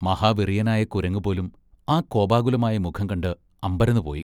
മഹാവെറിയനായ കുരങ്ങുപോലും ആ കോപാകുലമായ മുഖം കണ്ട് അമ്പരന്നുപോയി.